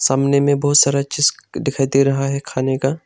सामने में बहुत सारा चीज दिखाई दे रहा है खाने का।